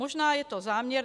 Možná je to záměr.